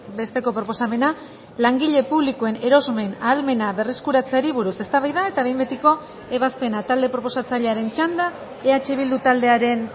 besteko proposamena langile publikoen erosmen ahalmena berreskuratzeari buruz eztabaida eta behin betiko ebazpena talde proposatzailearen txanda eh bildu taldearen